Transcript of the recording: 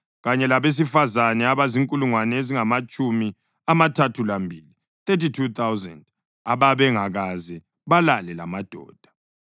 kanye labesifazane abazinkulungwane ezingamatshumi amathathu lambili (32,000) ababengakaze balale lamadoda.